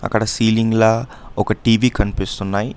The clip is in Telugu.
అక్కడ సీలింగ్లా ఒక టీ_వీ కనిపిస్తున్నాయి.